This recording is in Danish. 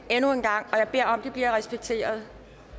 jeg beder om at det bliver respekteret